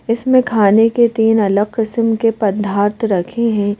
इसमें खाने के तीन अगल किसीम के पधात रखे हैं।